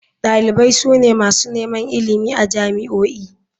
Dalibai su ne masu neman ilimi a jami'o'i.